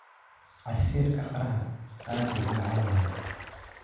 Casiirka qaraha aad buu u macaan yahay.